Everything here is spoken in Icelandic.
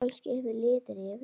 Kannski hefur liðið yfir hana?